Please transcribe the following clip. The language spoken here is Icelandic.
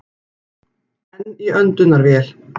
Enn í öndunarvél